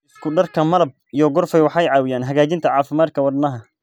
Isku darka malab iyo qorfe waxay caawiyaan hagaajinta caafimaadka wadnaha.